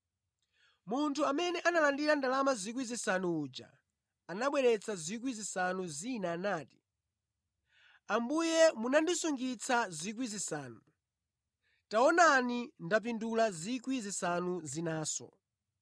Munthu amene analandira ndalama 5,000 uja anabweretsa 5,000 zina nati, ‘Ambuye munandisungitsa 5,000, taonani ndapindula 5,000 zinanso.’